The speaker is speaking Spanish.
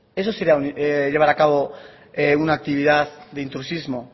eso sería llevar a cabo una actividad de intrusismo